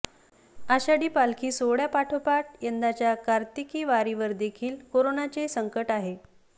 आषाढी पालखी सोहळ्यापाठोपाठ यंदाच्या कार्तिकी वारीवरदेखील करोनाचे संकट आहे